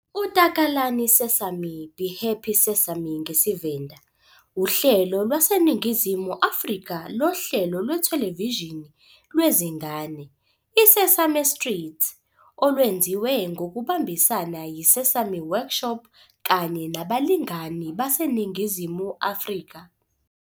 UTakalani Sesame, "be happy Sesame" ngesiVenda, uhlelo lwaseNingizimu Afrika lohlelo lwethelevishini lwezingane "iSesame Street", olwenziwe ngokubambisana yiSesame Workshop kanye nabalingani baseNingizimu Afrika.